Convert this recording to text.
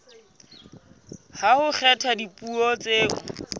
ha ho kgethwa dipuo tseo